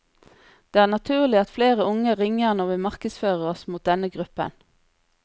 Det er naturlig at flere unge ringer når vi markedsfører oss mot denne gruppen.